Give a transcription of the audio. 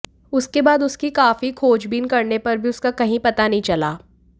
उसके बाद उसकी काफी खोजबीन करने पर भी उसका कही पता नहीं चला